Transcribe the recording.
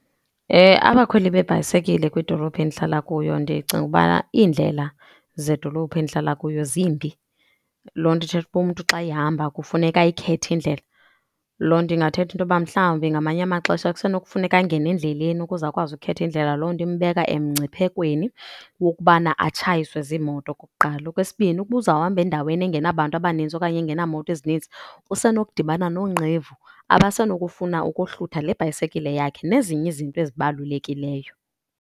Abakhweli beebhayisekile kwidolophi endihlala kuyo ndicinga ubana iindlela zedolophi endihlala kuyo zimbi. Loo nto ithetha uba umntu xa ehamba kufuneka ayikhethe indlela. Loo nto ingathetha into yoba mhlawumbi ngamanye amaxesha kusenokufuneka angene endleleni ukuze akwazi ukhetha indlela, loo nto imbeka emngciphekweni wokubana atshayiswe ziimoto okokuqala. Okwesibini ukuba uzawuhamba endaweni engenabantu abaninzi okanye engenamoto ezinintsi, usenokudibana noonqevu abasenokufuna ukohlutha le bhayisekile yakhe nezinye izinto ezibalulekileyo.